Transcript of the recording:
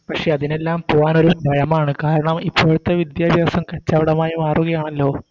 പക്ഷെ അതിനെല്ലാം പോവാനൊരു ഭയമാണ് കാരണം ഇപ്പോഴത്തെ വിദ്യാഭ്യാസം കച്ചവടമായി മാറുകയാണല്ലോ